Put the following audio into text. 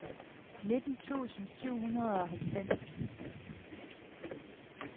nitten tusind syv hundrede og halvfems